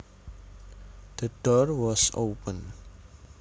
The door was open